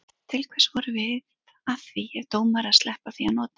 Til hvers vorum við að því ef dómarar sleppa því að nota hana?